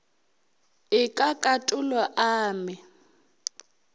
e ka katolo a me